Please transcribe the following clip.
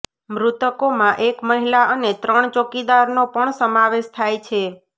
મૃતકોમાં એક મહિલા અને ત્રણ ચોકિદારનો પણ સમાવેશ થાય છે